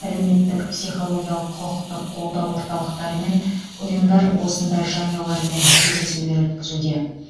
әлеуметтік психологиялық құқықтық қолдау орталықтары мен ұйымдар осындай жанұялармен кездесулер өткізуде